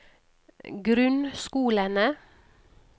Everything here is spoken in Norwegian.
grunnskolene